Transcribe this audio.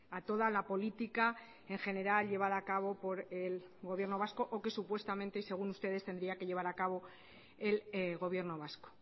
a toda la política en general llevada a cabo por el gobierno vasco o que supuestamente y según ustedes tendría que llevar a cabo el gobierno vasco